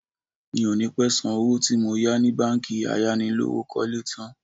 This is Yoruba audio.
Mi ò ní pẹ́ san owó tí mo yá ni báńkì ayánilówókọ́lé tn